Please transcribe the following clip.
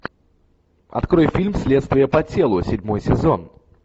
открой фильм следствие по телу седьмой сезон